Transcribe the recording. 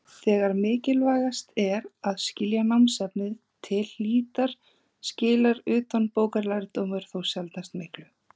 Þegar mikilvægast er að skilja námsefnið til hlítar skilar utanbókarlærdómur þó sjaldnast miklu.